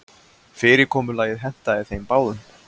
Fyrirkomulagið hentaði þeim báðum.